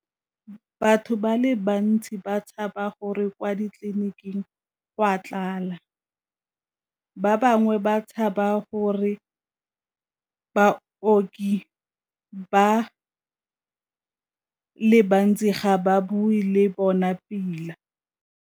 Batho ba le bantsi ba tshaba gore kwa ditleliniking go a tlala, ba bangwe ba tshaba gore baoki ba le bantsi ga ba bue le bona pila.